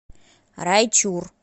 райчур